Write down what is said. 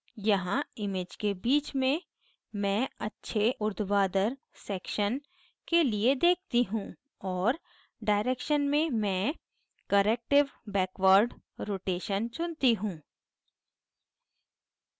यहाँ image के बीच में मैं अच्छे उर्ध्वाधर section के लिए देखती हूँ और direction में मैं corrective backward rotation चुनती हूँ